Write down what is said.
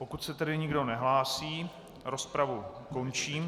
Pokud se tedy nikdo nehlásí, rozpravu končím.